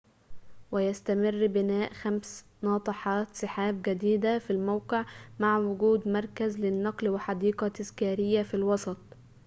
ويستمر بناء خمس ناطحات سحابٍ جديدةٍ في الموقع مع وجود مركز للنقل وحديقةٍ تذكاريةٍ في الوسط